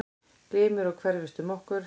Glymur og hverfist um okkur.